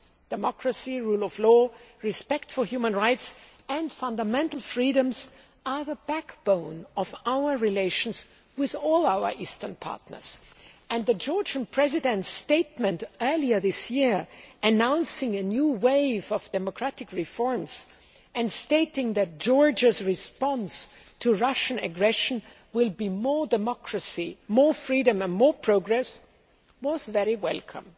Democracy, rule of law, respect for human rights and fundamental freedoms are the backbone of our relations with all our eastern partners, and the Georgian President's statement earlier this year announcing a new wave of democratic reforms', and stating that Georgia's response to Russian aggression will be more democracy, more freedom and more progress, was very welcome.